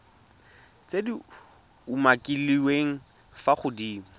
tse di umakiliweng fa godimo